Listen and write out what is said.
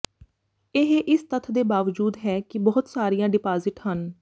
ਇਹ ਇਸ ਤੱਥ ਦੇ ਬਾਵਜੂਦ ਹੈ ਕਿ ਬਹੁਤ ਸਾਰੀਆਂ ਡਿਪਾਜ਼ਿਟ ਹਨ